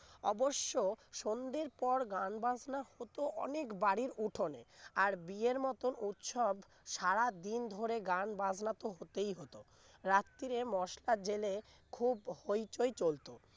অবশ্য সন্ধ্যের পর গান বাজনা হতো অনেক বাড়ির উঠোনে আর বিয়ের মতো উৎসব সারাদিন ধরে গান বাজনা তো হতেই হত রাত্রে মশাল জেলে খুব হইচই চলতো